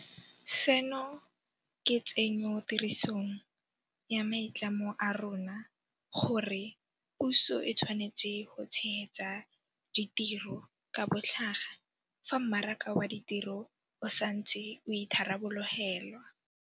Seno ke tsenyotirisong ya maitlamo a rona a gore puso e tshwanetse go tshegetsa ditiro ka botlhaga fa mmaraka wa ditiro o sa ntse o itharabologelwa.